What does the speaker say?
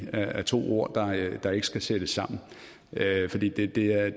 er to ord der ikke skal sættes sammen fordi